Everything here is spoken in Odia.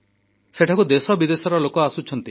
ସେଠାକୁ ଦେଶବିଦେଶର ଲୋକ ଆସୁଛନ୍ତି